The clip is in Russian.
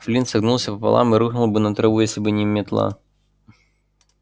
флинт согнулся пополам и рухнул бы на траву если бы не метла